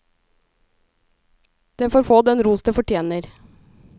Det får få den ros det fortjener.